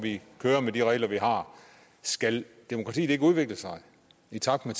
køre med de regler vi har skal demokratiet ikke udvikle sig i takt med